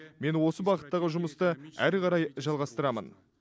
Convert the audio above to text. мен осы бағыттағы жұмысты ары қарай жалғастырамын